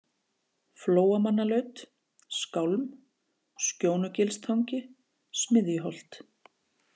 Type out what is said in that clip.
Flóamannalaut, Skálm, Skjónugilstangi, Smiðjuholt